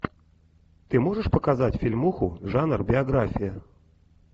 ты можешь показать фильмуху жанр биография